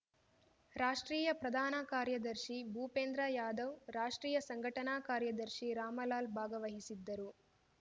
ರಾಷ್ಟ್ರೀಯ ಪ್ರಧಾನ ಕಾರ್ಯದರ್ಶಿ ಭೂಪೇಂದ್ರ ಯಾದವ್‌ ರಾಷ್ಟ್ರೀಯ ಸಂಘಟನಾ ಕಾರ್ಯದರ್ಶಿ ರಾಮಲಾಲ್‌ ಭಾಗವಹಿಸಿದ್ದರು